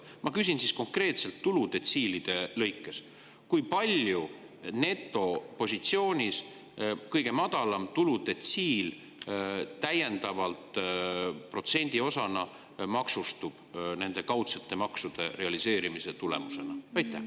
Ma küsin siis konkreetselt tuludetsiilide lõikes: kui palju netopositsioonis kõige madalam tuludetsiil täiendavalt protsendiosana maksustub nende kaudsete maksude realiseerimise tulemusena?